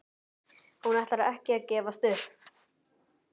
Hún ætlar ekki að gefast upp!